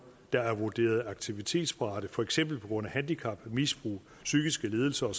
der er vurderet aktivitetsparate for eksempel på grund af handicap misbrug psykiske lidelser